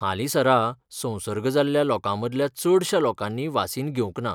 हालींसरा संसर्ग जाल्ल्या लोकांमदल्या चडश्या लोकांनी वासीन घेवंक ना.